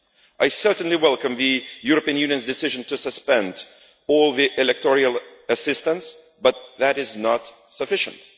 I certainly welcome the European Union's decision to suspend all electoral assistance, but that is not sufficient.